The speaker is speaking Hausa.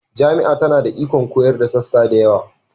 Jami'a tana da ikon koyarwa da sassa da yawa